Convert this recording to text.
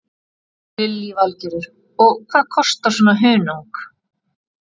Lillý Valgerður: Og hvað kostar svona hunang?